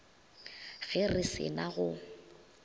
ge re se na go